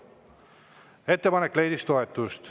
Ettepanek leidis toetust.